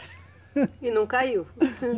E não caiu?